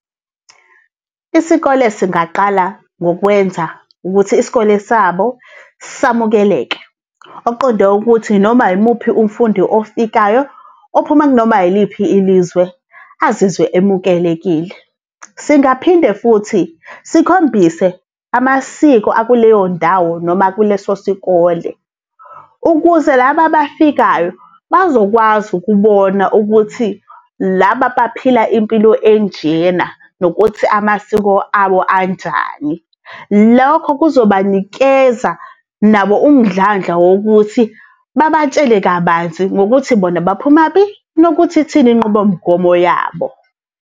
Isikole singaqala ngokwenza ukuthi isikole sabo samukeleke, okuqonde ukuthi noma yimuphi umfundi ofikayo uphuma kunoma yiliphi ilizwe azizwe emukelekile. Singaphinde futhi sikhombise amasiko akuleyo ndawo noma kuleso sikole ukuze laba bafikayo bazokwazi ukubona ukuthi laba baphila impilo enjena, nokuthi amasiko abo anjani. Lokho kuzobanikeza nabo umdlandla wokuthi babatshele kabanzi ngokuthi bona baphumaphi, nokuthi ithini inqubomgomo yabo.